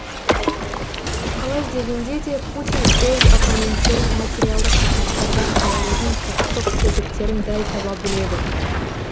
қалай дегенде де путин өз оппоненттерін материалдық ресурстардан айырудың құқықтық тетіктерін дәл таба біледі